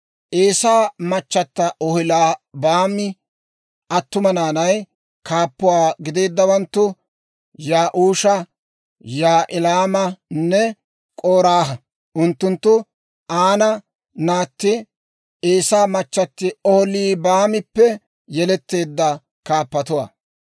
Eesaa machchatti Oholiibaami attuma naanay, kaappuwaa gideeddawanttu Ya'uusha, Yaa'ilaamanne K'oraaha; unttunttu Aana naatti, Eesaa machchatti Oholiibaamippe yeletteedda kaappatuwaa.